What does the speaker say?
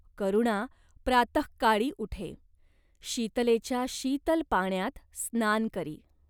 करुणा प्रातहकाळी उठे. शीतलेच्या शीतल पाण्यात स्नान करी.